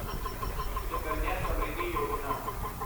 Sukanya Samriddhi Yojana